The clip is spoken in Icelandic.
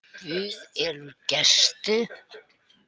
Guð elur gesti.